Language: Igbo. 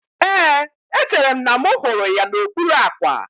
Éè, echere m na mụ hụrụ ya n'okpuru àkwà